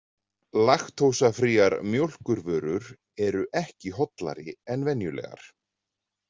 Laktósafríar mjólkurvörur eru ekki hollari en venjulegar.